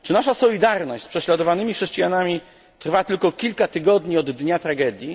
Czy nasza solidarność z prześladowanymi chrześcijanami trwa tylko kilka tygodni od dnia tragedii?